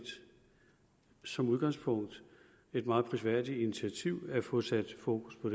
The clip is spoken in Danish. som udgangspunkt et meget prisværdigt initiativ at få sat fokus på